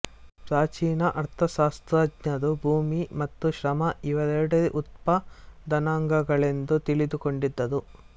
ಪ್ರಾಚೀನ ಅರ್ಥಶಾಸ್ತ್ರಜ್ಞರು ಭೂಮಿ ಮತ್ತು ಶ್ರಮ ಇವೆರಡೇ ಉತ್ಪಾದನಾಂಗಗಳೆಂದು ತಿಳಿದುಕೊಂಡಿದ್ದರು